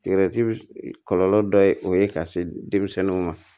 kɔlɔlɔ dɔ ye o ye ka se denmisɛnninw ma